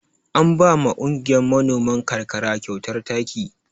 An ba ma kungiyar manoman ƙarƙara kyautar taki.